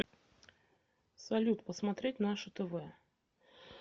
салют посмотреть наше тв